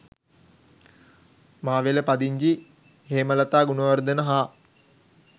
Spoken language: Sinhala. මාවෙල පදිංචි හේමලතා ගුණවර්ධන හා